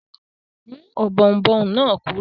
Mú ọ̀bọ̀ọ̀nbọọ̀n náà kúrò!